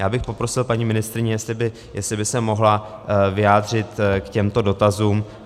Já bych poprosil paní ministryni, jestli by se mohla vyjádřit k těmto dotazům.